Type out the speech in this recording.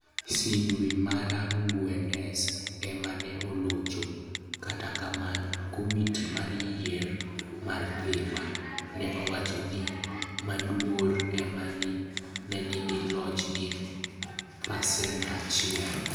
Cdwe mara ngwenes ema ne olocho, kata kamano, Komiti mar Yier ma Dhiwa ne owacho ni Maduro ema ne nigi loch gi pasent 1.